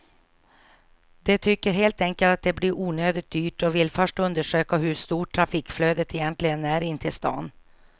De tycker helt enkelt att det blir onödigt dyrt och vill först undersöka hur stort trafikflödet egentligen är in till stan.